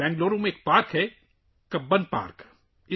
بنگلورو میں ایک پارک ہے – کبن پارک